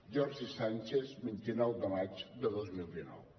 jordi sànchez vint nou de maig de dos mil dinou